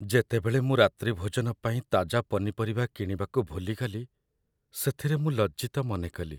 ଯେତେବେଳେ ମୁଁ ରାତ୍ରିଭୋଜନ ପାଇଁ ତାଜା ପନିପରିବା କିଣିବାକୁ ଭୁଲିଗଲି, ସେଥିରେ ମୁଁ ଲଜ୍ଜିତ ମନେକଲି।